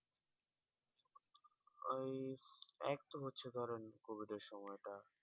ওই একতো হচ্ছে ধরেন কোভিডের সময়টা